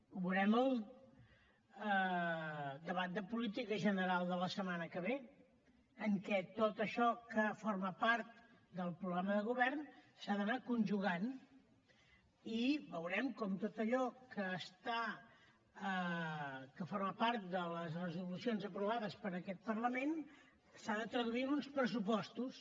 ho veurem al debat de política general de la setmana que ve en què tot això que forma part del programa de govern s’ha d’anar conjugant i veurem com tot allò que forma part de les resolucions aprovades per aquest parlament s’ha de traduir en uns pressupostos